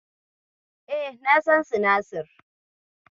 E, na san sinasir.